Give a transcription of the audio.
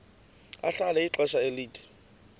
ahlala ixesha elide